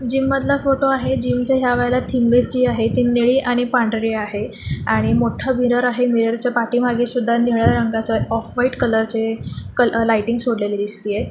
Gym मधला फोटो आहे जीमच्या या वेळीला थीम बेस जी आहे ती नीळी आणि पांढरी आहे आणि मोठ मिरर आहे.मिरोरच्या पाठीमागे सुधा निळ्या रंगाचं ऑफ व्हाइट कलरचे कल लायटिंग सोडलेली दिसतीये.